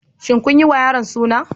Shin kun yiwa yaro Suna?